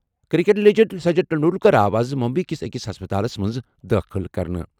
Cricket legend Sachin Tendulkar آو آز ممبئی کِس أکِس ہسپتالَس منٛز دٲخٕل کرنہٕ۔